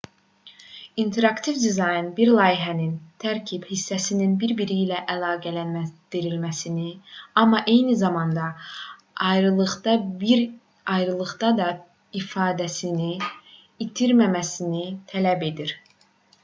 i̇nteraktiv dizayn bir layihənin tərkib hissələrinin bir-biri ilə əlaqələndirilməsini amma eyni zamanda ayrılıqda da ifadəsini itirməməsini tələb edir